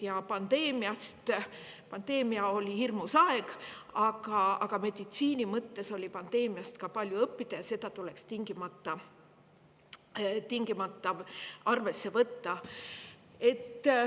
Ja pandeemia oli hirmus aeg, aga meditsiini mõttes sai pandeemiast palju õppida, ja seda tuleks tingimata arvesse võtta.